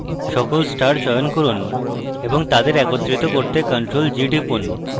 সকল stars চয়ন করুন এবং তাদের একত্রিত করতে ctrl + g টিপুন